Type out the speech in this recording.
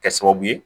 Kɛ sababu ye